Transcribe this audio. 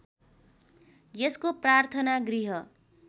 यसको प्रार्थना गृह